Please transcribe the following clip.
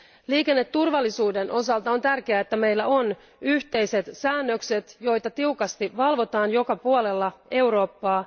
Liikenneturvallisuuden osalta on tärkeää, että meillä on yhteiset säännökset, joita tiukasti valvotaan joka puolella Eurooppaa.